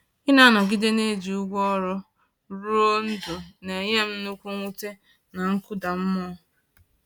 Ịna-anọgide na-eji ụgwọ ọrụ rụọ ndụ n’enyere m nnukwu mwute na nkụda mmụọ